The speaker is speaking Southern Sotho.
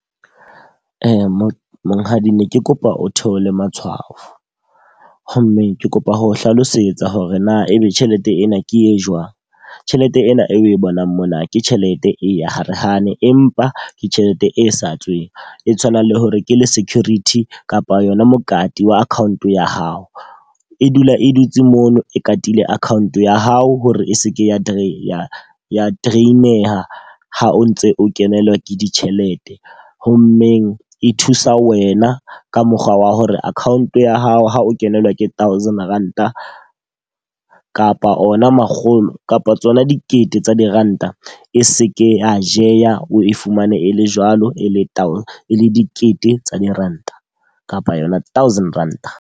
Monghadi ne ke kopa o theole matshwafo. Ho mmeng ke kopa ho o hlalosetsa hore na e be tjhelete ena ke e jwang. Tjhelete ena e bonang mona ke tjhelete e ya hare hane empa ke tjhelete e sa tsweng e tshwanang le hore ke le security kapa yona mokati wa account ya hao. E dula e dutse mono e katile account ya hao hore e seke ya ya drain-eha ha o ntse o kenelwa ke ditjhelete. Ho mmeng e thusa wena ka mokgwa wa hore account ya hao ha o kenelwa ke thousand ranta kapa ona makgolo kapa tsona dikete tsa diranta, e seke ya jeha o e fumane e le jwalo. E le e le dikete tsa diranta kapa yona thousand Ranta.